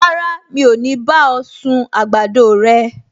Rárá, mi ò ní bá ọ sun àgbàdo rẹ